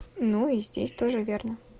ну и здесь тоже верно